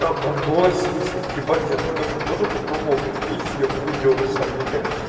а макдональдс в смысле ебать я как то тоже попробовал биктейсти я хуй ел на самом деле